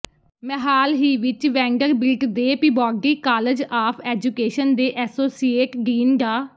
ਮੈਂ ਹਾਲ ਹੀ ਵਿਚ ਵੈਨਡਰਬਿਲਟ ਦੇ ਪਿਬੌਡੀ ਕਾਲਜ ਆਫ ਐਜੂਕੇਸ਼ਨ ਦੇ ਐਸੋਸੀਏਟ ਡੀਨ ਡਾ